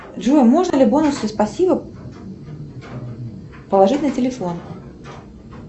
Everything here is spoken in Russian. джой можно ли бонусы спасибо положить на телефон